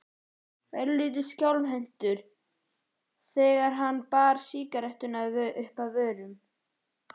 Örlítið skjálfhentur þegar hann bar sígarettuna uppað vörunum.